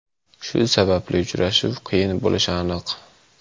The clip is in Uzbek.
Shu sababli uchrashuv qiyin bo‘lishi aniq.